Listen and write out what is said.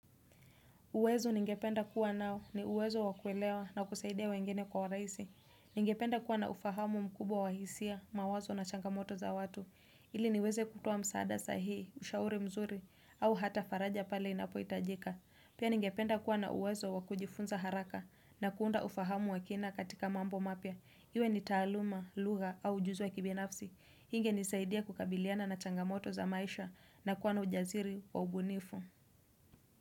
Uwezo ningependa kuwa nao ni uwezo wakuelewa na kusaidia wengine kwa urahisi Ningependa kuwa na ufahamu mkubwa wa hisia, mawazo na changamoto za watu. Ili niweze kutoa msaada sahihi, ushauri mzuri, au hata faraja pale inapo itajika. Pia ningependa kuwa na uwezo wakujifunza haraka na kuunda ufahamu wakina katika mambo mapya Iwe ni taaluma, lugha au ujuzi wa kibinafsi. Inge nisaidia kukabiliana na changamoto za maisha na kuwa na ujasiri wa ubunifu.